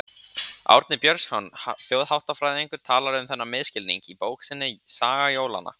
Árni Björnsson þjóðháttafræðingur fjallar um þennan misskilning í bók sinni Saga jólanna.